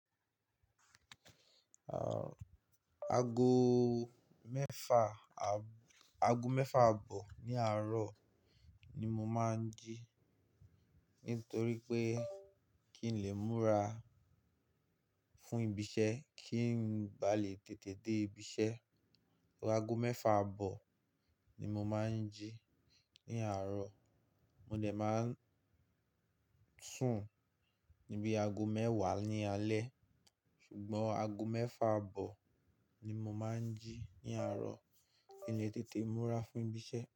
Ago mẹ́fa, ago mẹ́fà abọ ní àárọ̀ ni mo máa ń jí nítorí pé kí ń lè múra fún ìbíṣẹ́, kí n bà lè tètè dé ìbíṣẹ́. Ago mẹ́fà bọ ni mo máa ń jí ní àárọ̀. Mo dẹ̀ máa ń sùn níbí ago mẹ́wàá ní alẹ́ ṣùgbọ́n ago mẹ́fà abọ ni mo máa ń jí ní àárọ̀ kí ń lè tètè múra fún ìbíṣẹ́.